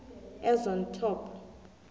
as on top